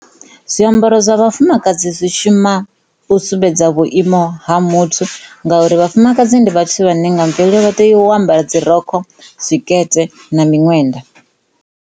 Zwiambaro zwa vhafumakadzi zwi shuma u sumbedza vhuiimo ha muthu ngauri vhafumakadzi ndi vhathu vhane nga mvelo vha tea u ambara dzirokho, tshikete na miṅwenda.